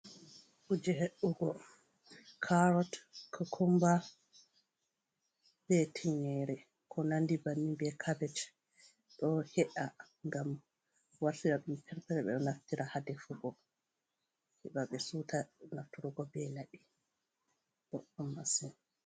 Kuje he'ugo, karot kokumba be tinƴere, ko nandi bannin, be kabej. Ɗo he'a ngam wartira ɗum perpeton. Ɓe ɗo naftira ha defugo, he ɓa ɓe siwta nafturgo be laɓi, boɗɗum masin.